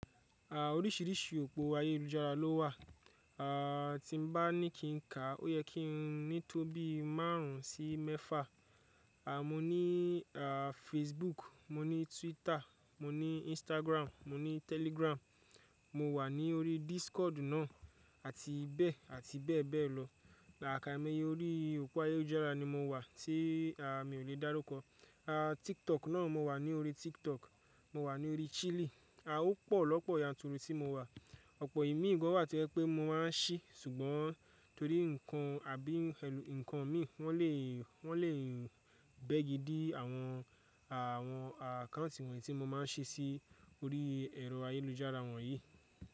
À oríṣìíríṣìí òpó ayélujára ló wà. À tí bá ní kí n ká, ó yẹ kí n ní tó bí márùn ún sí mẹ́fà. À mo ní à Facebook, mo ní Twitter, mo ní Instagram, mo ní Telegram, mo wà ní orí Discord náà àti bẹ́ẹ̀ àti bẹ́ẹ̀ bẹ́ẹ̀ lọ. Làká ẹmẹyẹ orí òpó ayélujára ni mo wà tí à mi ò lè dárúkọ. À TikTok náà mo wà ní orí TikTok, mo wà ní orí Cheely. A ó pọ̀ lọ́pọ̀ ìyanturu tí mo wà. Ọ̀pọ̀ ìmíì gan wà tí ẹ pé mo máa ń ṣí, ṣùgbọ́n torí nǹkan àbí ẹ̀ nǹkan mi wọ́n lè, wọ́n lè bẹ́gi dí àwọn, àwọn à káǹtì wọ̀nyí tí mo máa ń ṣí sí orí ẹ̀rọ ayélujára wọ̀nyí.